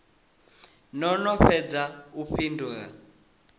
no no fhedza u fhindula